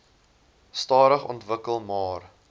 stadig ontwikkel maar